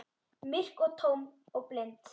Myrk og tóm og blind.